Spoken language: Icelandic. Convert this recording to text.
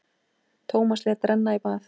Tómas lét renna í bað.